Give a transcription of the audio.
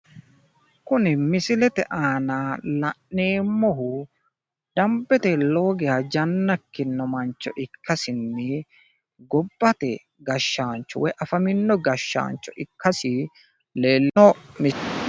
Kuni misilete aana la'neemmohu dambete lowo geya janna ikkino mancho ikkasinni gobbate gashshaancho woyi afamino gashshaancho ikkasi leelishshanno